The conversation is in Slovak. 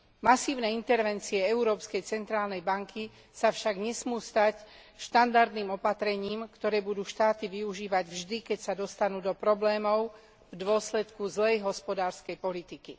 Masívne intervencie Európskej centrálnej banky sa však nesmú stať štandardným opatrením, ktoré budú štáty využívať vždy, keď sa dostanú do problémov v dôsledku zlej hospodárskej politiky.